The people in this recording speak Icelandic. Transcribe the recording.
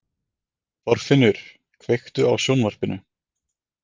Þorfinnur, kveiktu á sjónvarpinu.